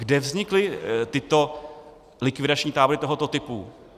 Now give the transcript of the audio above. Kde vznikly tyto likvidační tábory tohoto typu?